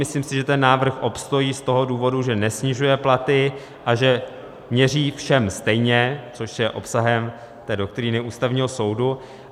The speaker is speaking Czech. Myslím si, že ten návrh obstojí z toho důvodu, že nesnižuje platy a že měří všem stejně, což je obsahem té doktríny Ústavního soudu.